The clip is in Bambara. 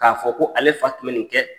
K'a fɔ ko ale fa tun in kɛ